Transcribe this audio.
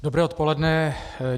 Dobré odpoledne.